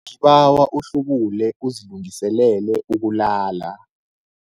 Ngibawa uhlubule uzilungiselele ukulala.